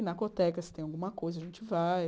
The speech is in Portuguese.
Pinacoteca, se tem alguma coisa, a gente vai.